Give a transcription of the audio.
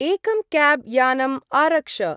एकं क्याब्‌-यानम् आरक्ष।